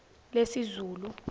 lesizulu